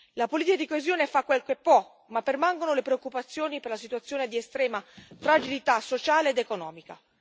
La politica di coesione fa quel che può, ma permangono le preoccupazioni per la situazione di estrema fragilità sociale ed economica.